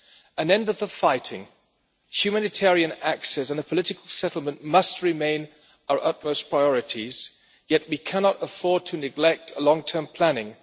An end to the fighting, humanitarian access and a political settlement must remain our utmost priorities, yet we cannot afford to neglect long term planning.